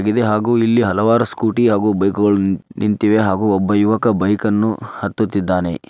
ಹಾಗು ಇಲ್ಲಿ ಹಲವಾರು ಸ್ಕೂಟಿ ಹಾಗು ಬೈಕುಗಳು ನಿಂತಿವೆ ಹಾಗೂ ಒಬ್ಬ ಯುವಕ ಬೈಕನ್ನು ಹತ್ತುತ್ತಿದ್ದಾನೆ--